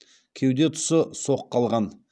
кеуде тұсы соққы алған